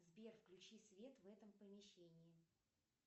сбер включи свет в этом помещении